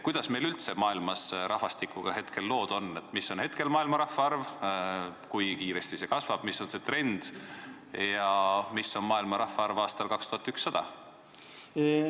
Kuidas meil üldse maailmas rahvastikuga hetkel lood on, mis on maailma rahvaarv, kui kiiresti see kasvab, mis on see trend ja mis on maailma rahvaarv aastal 2100?